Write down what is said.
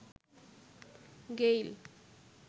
Gayle